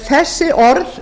þessi orð